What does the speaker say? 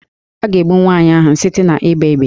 A ga-egbu nwaanyị ahụ site n'ịgba égbè